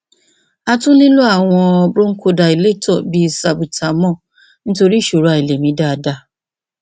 a tún nílò àwọn bronchodilator bí salbutamol nítorí ìṣòro àìlè mí dáadáa